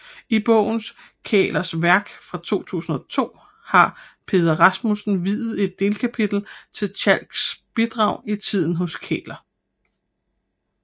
I bogen Kählers Værk fra 2002 har Peder Rasmussen viet et delkapitel til Tjalks bidrag i tiden hos Kähler